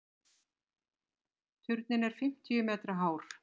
Turninn er fimmtíu metra hár.